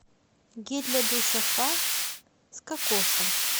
гель для душа фа с кокосом